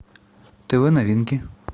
тв новинки